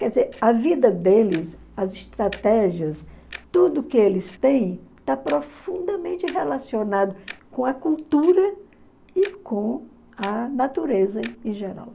Quer dizer, a vida deles, as estratégias, tudo que eles têm, está profundamente relacionado com a cultura e com a natureza em geral.